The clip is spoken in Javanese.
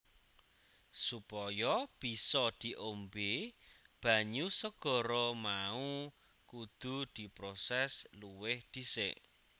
Supaya bisa diombé banyu segara mau kudu diprosès luwih dhisik